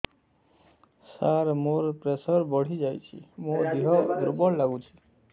ସାର ମୋର ପ୍ରେସର ବଢ଼ିଯାଇଛି ମୋ ଦିହ ଦୁର୍ବଳ ଲାଗୁଚି